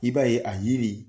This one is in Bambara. I b'a ye a yiri